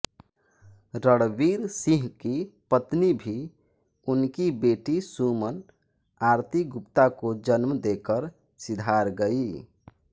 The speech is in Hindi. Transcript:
रणवीर सिंह की पत्नी भी उनकी बेटी सुमन आरती गुप्ता को जन्म देकर सिधार गई